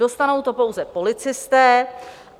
Dostanou to pouze policisté.